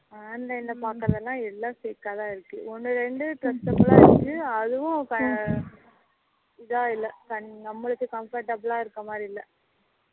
online ல பாக்குரதுயில்லாம் எல்லாம் fake ஆ தான் இருக்கு ஒண்ணு இரண்டு trustworthy இருக்கு அதுவும் இதா இல்லை நம்மளுக்ககு comfortable ஆ இருக்குற மாதிரி இல்லை